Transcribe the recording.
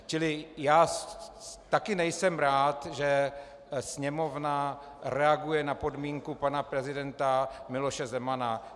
Čili já taky nejsem rád, že Sněmovna reaguje na podmínku pana prezidenta Miloše Zemana.